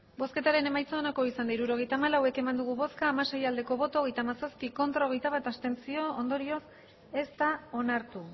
hirurogeita hamalau eman dugu bozka hamasei bai hogeita hamazazpi ez hogeita bat abstentzio ondorioz ez da onartu